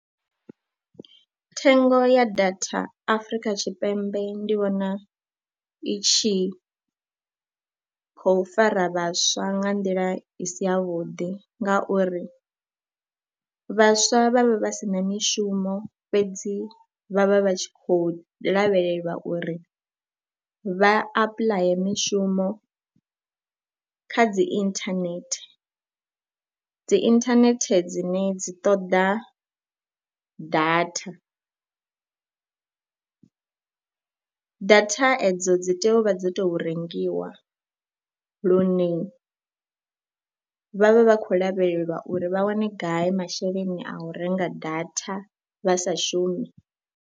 Thengo ya data Afrika Tshipembe ndi vhona i tshi khou fara vhaswa nga nḓila i si yavhuḓi ngauri vhaswa vha vhe vha si na mishumo fhedzi vha vha vha tshi khou lavhelelwa uri vha apuḽaye mishumo kha dzi inthanethe, dzi inthanethe dzine dzi ṱoḓa data. Data edzo dzi tea u vha dzi tou\ rengiwa lune vha vha vha khou lavhelelwa uri vha wane gai masheleni a u renga data vha sa shumi.